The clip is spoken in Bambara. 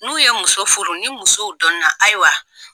N'u ye muso furu ni musow don na ayiwa